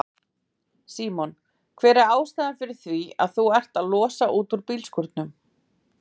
Símon: Hver er ástæðan fyrir því að þú ert að losa út úr bílskúrnum?